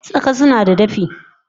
Tsaka sunada dafi